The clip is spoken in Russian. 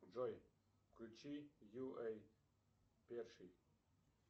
джой включи ю эй перший